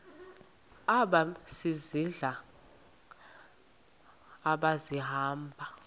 aba sisidl amazimba